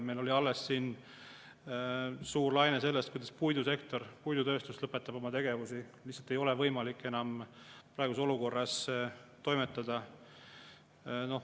Meil oli alles siin info selle kohta, et puidusektor, puidutööstus lõpetab oma tegevust, sest neil lihtsalt ei ole võimalik enam praeguses olukorras toimetada.